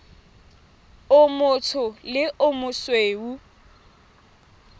o motsho le o mosweu